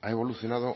ha evolucionado